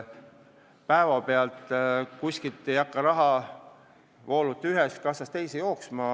Päevapealt ei hakka rahavoolud ühest kassast teise jooksma.